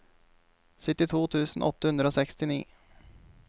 syttito tusen åtte hundre og sekstini